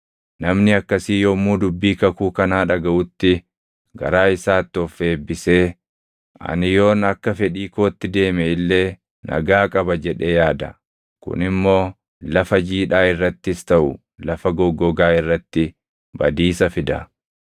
Namni akkasii yommuu dubbii kakuu kanaa dhagaʼutti, garaa isaatti of eebbisee, “Ani yoon akka fedhii kootti deeme illee nagaa qaba” jedhee yaada. Kun immoo lafa jiidhaa irrattis taʼu lafa goggogaa irratti badiisa fida.